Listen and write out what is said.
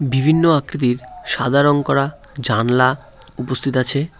বিভিন্ন আকৃতির সাদা রং করা জানলা উপস্থিত আছে।